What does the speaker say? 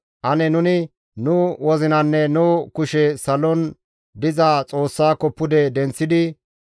Ane nuni nu wozinanne nu kushe salon diza Xoossako pude denththidi,